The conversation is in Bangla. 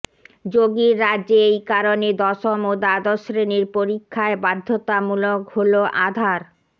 যোগীর রাজ্যে এই কারণে দশম ও দ্বাদশ শ্রেণির পরীক্ষায় বাধ্যতামূলক হল আধার